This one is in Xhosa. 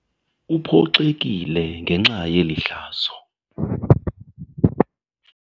Uphoxekile ngenxa yeli hlazo.